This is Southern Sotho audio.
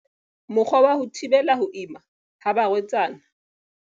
Mokgwa wa ho thibela ho ima ha barwetsana.